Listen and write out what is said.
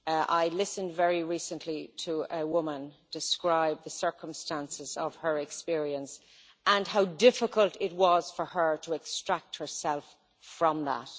I listened very recently to a woman describe the circumstances of her experience and how difficult it was for her to extract herself from that.